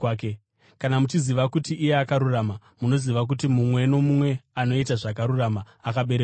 Kana muchiziva kuti iye akarurama, munoziva kuti mumwe nomumwe anoita zvakarurama akaberekwa naye.